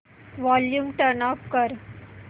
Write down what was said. volume turn off कर